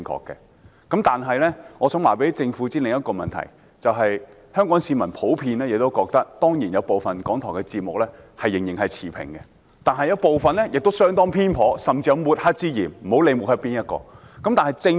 但是，我想告訴政府另一個問題：香港市民普遍認為，當然有部分港台節目仍然持平，但有部分節目相當偏頗，甚至有抹黑之嫌，不管是抹黑誰。